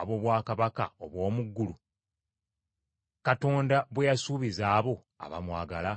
ab’obwakabaka obw’omu ggulu, Katonda bwe yasuubiza abo abamwagala?